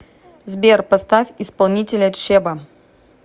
сбер поставь исполнителя чеба